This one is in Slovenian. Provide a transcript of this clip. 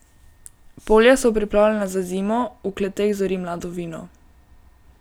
Polja so pripravljena na zimo, v kleteh zori mlado vino.